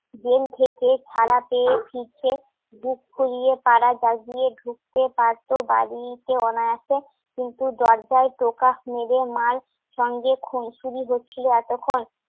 jail থেকে ছাড়া পেয়ে ফিরছে বুক ফুলিয়ে পাড়া জাগিয়ে ঢুকতে পারতো বাড়িতে অনায়াসে কিন্তু দরজায় টোকাস মেরে মার সঙ্গে খুনসুরি হচ্ছিল এতক্ষণ